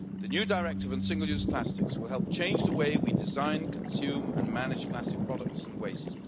The new Directive on single use plastics will help change the way we design, consume and manage plastic products and waste.